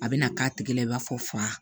A bɛna k'a tigi la i b'a fɔ